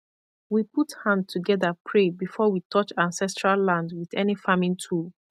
we put hand together pray before we touch ancestral land with any farming tool